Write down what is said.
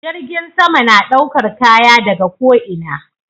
Jirgin sama na ɗaukar Kaya daga ko ina